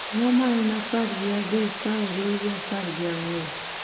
Ang'o ma en apar gi adek ka oriw gi apar gi ang'wen